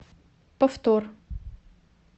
повтор